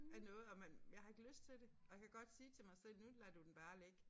Af noget og man jeg har ikke lyst til det og jeg kan godt sige til mig selv nu lader du den bare ligge